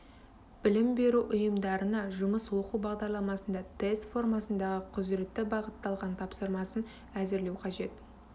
білім беру ұйымдарына жұмыс оқу бағдарламасында тест формасындағы құзыретті бағытталған тапсырмасын әзірлеу қажет